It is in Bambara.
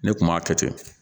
Ne kun m'a kɛ ten